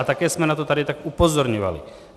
A také jsme na to tady tak upozorňovali.